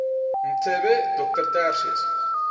mbethe dr tertius